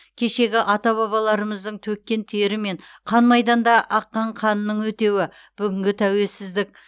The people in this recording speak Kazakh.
кешегі ата бабаларымыздың төккен тері мен қан майданда аққан қанының өтеуі бүгінгі тәуелсіздік